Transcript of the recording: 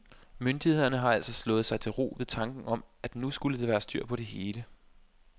Myndighederne har altså slået sig til ro ved tanken om, at nu skulle der være styr på det hele.